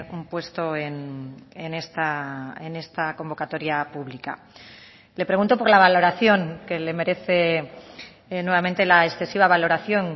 un puesto en esta convocatoria pública le pregunto por la valoración que le merece nuevamente la excesiva valoración